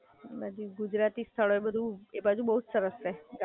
ગુજરાતી સ્થળો એ બધુ એ બાજુ બઉ સરસ છે ગામડા વાળું. તારું ગામ કયું છે આમ?